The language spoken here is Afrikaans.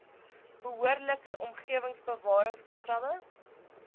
behoorlike omgewingsbewarings programme